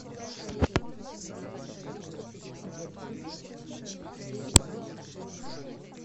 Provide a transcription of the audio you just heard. игорьке грачеве